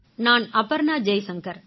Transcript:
நான் அபர்ணா ஜெய்ஷங்கர்